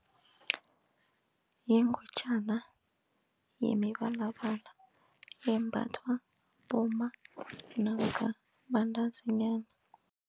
Yingutjana yemibalabala embathwa bomma namkha bantazinyana.